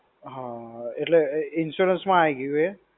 હા, એટલે insurance માં આઈ ગયું એ?